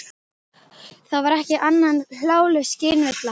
Það væri ekki annað en hláleg skynvilla.